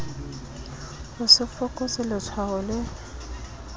ho se fokotswe letshwao le